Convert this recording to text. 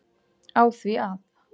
á því að